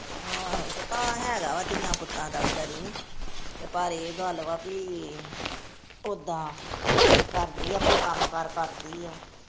ਹੈਗਾ ਵਾ ਧੀਆਂ ਪੁੱਤਾਂ ਦਾ ਵਿਚਾਰੀ ਨੂੰ, ਪਰ ਇਹ ਗੱਲ ਵਾ ਭੀ ਉੱਦਾਂ ਕਰਦੀ ਆ ਆਪਣਾ ਕੰਮ ਕਾਰ ਕਰਦੀ ਆ।